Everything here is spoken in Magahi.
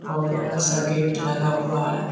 और बड़ा-सा गेट लगा हुआ है।